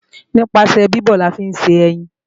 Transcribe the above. Nípasẹ̀ bíbọ̀ la fi ń ṣe ẹyin